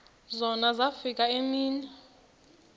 zona zafika iimini